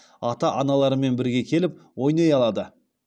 ата аналарымен бірге келіп ойнай алады